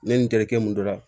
Ne ni n terikɛ mun don